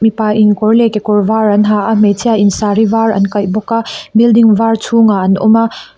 pa in kawr leh kekawr var an ha a hmeichhia in saree var an kaih bawk a building var chhungah an awm a.